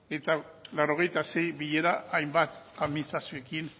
eta laurogeita sei bilera hainbat administrazioekin